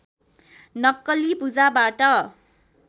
नक्कली पूजाबाट